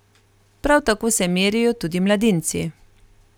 Prav tako se merijo tudi mladinci.